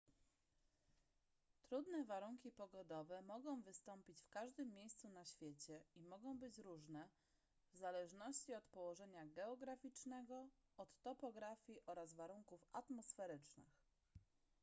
trudne warunki pogodowe mogą wystąpić w każdym miejscu na świecie i mogą być różne w zależności od położenia geograficznego od topografii oraz warunków atmosferycznych